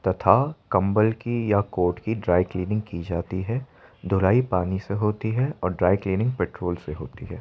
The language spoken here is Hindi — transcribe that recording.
तथा कम्बल की या कोट की ड्राई क्लीनिंग की जाती है। धुलाई पानी से होती है और ड्राई क्लीनिंग पेट्रोल से होती है।